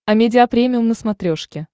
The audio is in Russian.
амедиа премиум на смотрешке